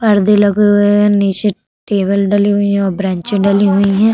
परदे लगे हुए है नीचे टेबल डली हुईं हैं और ब्रेन्चे डली हुईं है।